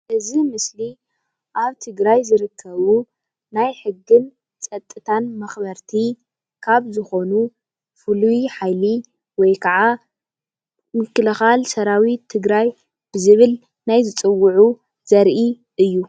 እዚ ምስሊ ኣብ ትግራይ ዝርከቡ ናይ ሕግን ጸጥታ መክበርቲ ካብ ዝኮኑ ፉልይ ሓይሊ ወይ ከዓ ምኽልካል ሰራዊት ትግራይ ብዝብል ናይ ዝጽዉዑ ዘርኢ እዩ።